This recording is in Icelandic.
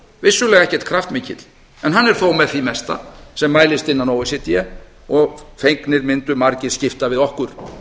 vissulega ekkert kraftmikill en hann er þó með því mesta sem mælist innan o e c d og fegnir mundu margir skipta við okkur við